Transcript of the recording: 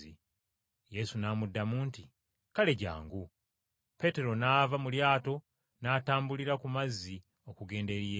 Yesu n’amuddamu nti, “Kale jjangu.” Peetero n’ava mu lyato n’atambulira ku mazzi okugenda eri Yesu.